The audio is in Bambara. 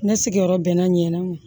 Ne sigiyɔrɔ bɛnna ɲan